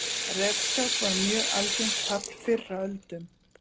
refskák var mjög algengt tafl fyrr á öldum